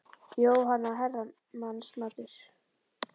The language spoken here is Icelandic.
Jóhanna: Herramannsmatur?